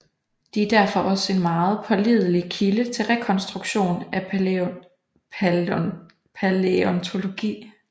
De er derfor også en meget pålidelig kilde til rekonstruktion af palæontologi